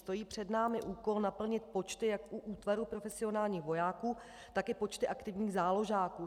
Stojí před námi úkol naplnit počty jak u útvaru profesionálních vojáků, tak i počty aktivních záložáků.